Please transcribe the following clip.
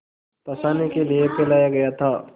फँसाने के लिए फैलाया गया था